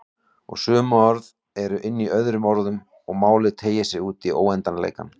Og sum orð eru inní öðrum orðum og málið teygir sig útí óendanleikann.